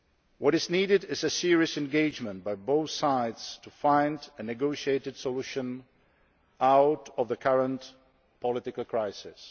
What is needed is a serious commitment by both sides to finding a negotiated solution to the current political crisis.